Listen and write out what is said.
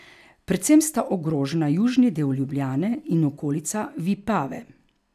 Predvsem sta ogrožena južni del Ljubljane in okolica Vipave.